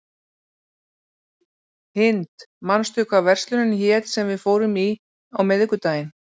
Hind, manstu hvað verslunin hét sem við fórum í á miðvikudaginn?